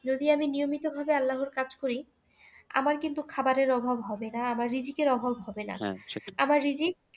যদি আমি নিয়মিতভাবে আল্লাহর কাজ করি আমার কিন্তু খাবারের অভাব হবে না আমার রিযিকের অভাব হবে না আমার রিযিক